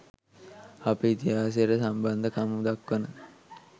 අපේ ඉතිහාසයට සම්බන්ධකම් දක්වන